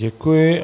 Děkuji.